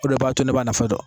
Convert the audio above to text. O de b'a to ne b'a nafa dɔn.